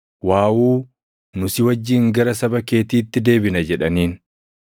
“Waawuu, nu si wajjin gara saba keetiitti deebina” jedhaniin.